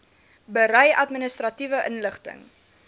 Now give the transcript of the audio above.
berei administratiewe inligting